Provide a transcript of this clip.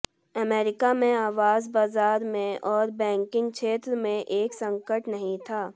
America में आवास बाजार में और बैंकिंग क्षेत्र में एक संकट नहीं था